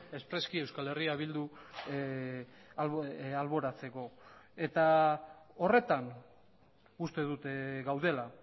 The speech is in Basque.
espreski euskal herria bildu alboratzeko eta horretan uste dut gaudela